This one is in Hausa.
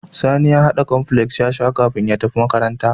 Sani ya hada cornflakes yasa kafin ya tafi makaranta